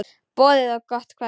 Boðið gott kvöld.